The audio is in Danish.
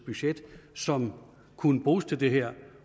budget som kunne bruges til det her